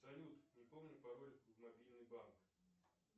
салют не помню пароль в мобильный банк